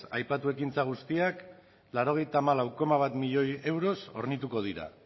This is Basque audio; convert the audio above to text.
aipatu ekintza guztiak laurogeita hamalau puntu bat milioi euroz hornituko dira